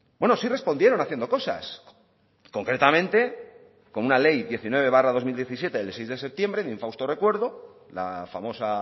bueno sí respondieron haciendo cosas concretamente con una ley diecinueve barra dos mil diecisiete de seis de septiembre de infausto recuerdo la famosa